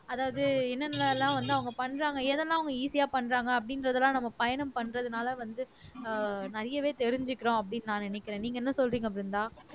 அதாவது என்னென்ன எல்லாம் வந்து அவங்க பண்றாங்க எதெல்லாம் அவங்க easy ஆ பண்றாங்க அப்படின்றதெல்லாம் நம்ம பயணம் பண்றதுனால வந்து ஆஹ் நிறையவே தெரிஞ்சுக்கறோம் அப்படின்னு நான் நினைக்கிறேன் நீங்க என்ன சொல்றீங்க பிருந்தா